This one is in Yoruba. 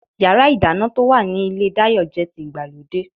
Yàrá-ìdáná to wa ní ilé Dayo jẹ́ ti ìgbàlódé